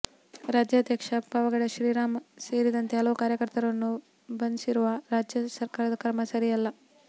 ರಾಜ್ಯಾಧ್ಯಕ್ಷ ಪಾವಗಡ ಶ್ರೀರಾಮ್ ಸೇರಿದಂತೆ ಹಲವು ಕಾರ್ಯಕರ್ತರನ್ನು ಬಂಸಿರುವ ರಾಜ್ಯ ಸರಕಾರದ ಕ್ರಮ ಸರಿಯಲ್ಲ